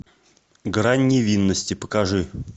грань невинности покажи